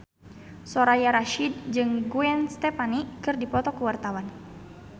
Soraya Rasyid jeung Gwen Stefani keur dipoto ku wartawan